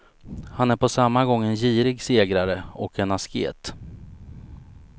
Han är på samma gång en girig segrare och en asket.